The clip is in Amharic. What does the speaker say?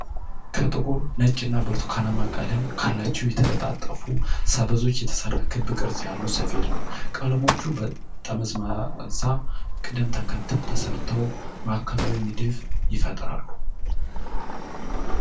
ከጥቁር፣ ነጭ እና ብርቱካናማ ቀለም ካላቸው የተጠላለፉ ሰበዞች የተሰራ ክብ ቅርጽ ያለው ሰፌድ ነው። ቀለሞቹ በመጠምዘዣ ቅደም ተከተል ተሰርተው ማዕከላዊ ንድፍ ይፈጥራሉ።